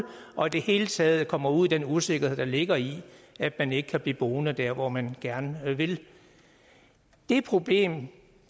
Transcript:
og i det hele taget kommer ud i den usikkerhed der ligger i at man ikke kan blive boende der hvor man gerne vil det problem